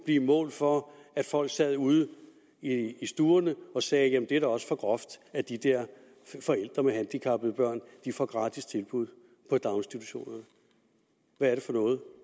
blive mål for at folk sad ude i stuerne og sagde jamen det er da også for groft at de der forældre med handicappede børn får gratis tilbud på daginstitutionerne hvad er det for noget